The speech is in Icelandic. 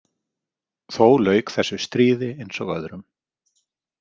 Þó lauk þessu stríði eins og öðrum.